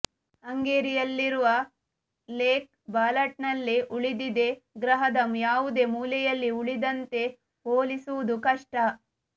ಹಂಗೇರಿಯಲ್ಲಿರುವ lake ಬಾಲಾಟನ್ನಲ್ಲಿ ಉಳಿದಿದೆ ಗ್ರಹದ ಯಾವುದೇ ಮೂಲೆಯಲ್ಲಿ ಉಳಿದಂತೆ ಹೋಲಿಸುವುದು ಕಷ್ಟ